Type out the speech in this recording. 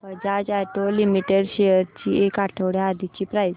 Bajaj auto limited shares ची एक आठवड्या आधीची प्राइस